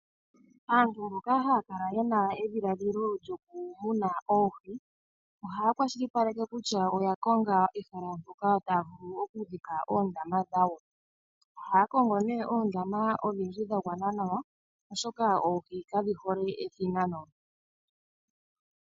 Aantu mboka haya kala yena edhiladhilo lyokumuna oohi. Ohaya kwashilipaleke kutya oya konga ehala mpoka taya vulu okudhika oondama dhawo. Ohaya kongo nee oondama odhindji dha gwana nawa oshoka oohi kadhi hole ethinano.